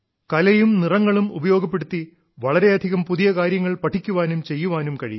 കലയും നിറങ്ങളും ഉപയോഗപ്പെടുത്തി വളരെയധികം പുതിയ കാര്യങ്ങൾ പഠിക്കുവാനും ചെയ്യാനും കഴിയും